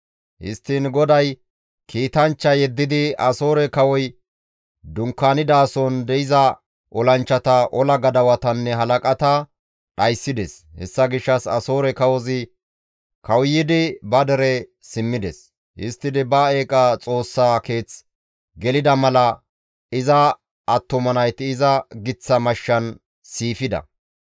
Histtiin GODAY kiitanchcha yeddidi Asoore kawoy dunkaanidason de7iza olanchchata, ola gadawatanne halaqata dhayssides; hessa gishshas Asoore kawozi kawuyidi ba dere simmides; histtidi ba eeqa xoossaa keeth gelida mala iza attuma nayti iza giththa mashshan siifida.